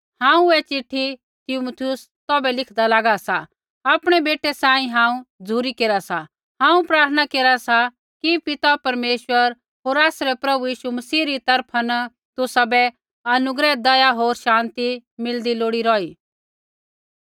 हांऊँ ऐ चिट्ठी तीमुथियुस तौभै लिखदा लागा सा आपणै बेटै सांही हांऊँ झ़ुरी केरा सा हांऊँ प्रार्थना केरा सा कि पिता परमेश्वर होर आसरै प्रभु यीशु मसीह री तरफा न तुसाबै अनुग्रह दया होर शान्ति मिलदी लोड़ी रौही